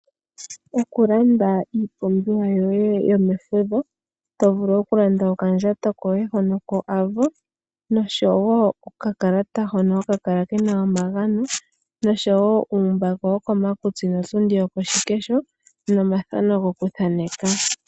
Oku landa iipumbiwa yoye yomefudho to vulu oku landa okandjato koye hono ko AVO noshowo okakalata hono haka kala kena omagano noshowo uumbako wokomakutsi notundi yokoshikesho nomathano gokuthaneka.